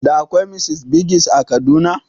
Da akwai Mr Biggs a Kaduna?